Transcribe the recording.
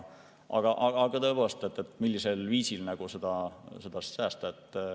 Aga tõepoolest, millisel viisil seda?